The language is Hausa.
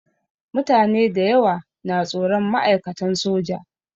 Mutane dayawa na tsoron ma'aikatan soja.